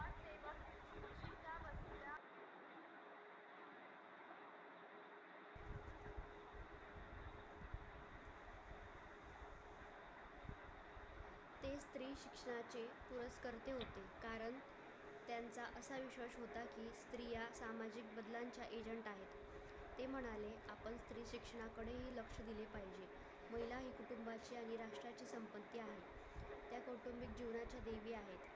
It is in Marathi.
तू देवी आहेस